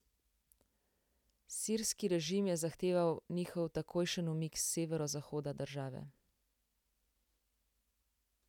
Sirski režim je zahteval njihov takojšen umik s severozahoda države.